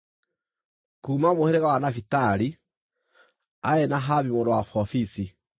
kuuma mũhĩrĩga wa Nafitali, aarĩ Nahabi mũrũ wa Vofisi;